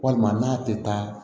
Walima n'a tɛ taa